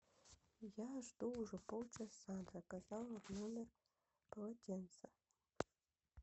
я жду уже полчаса заказала в номер полотенца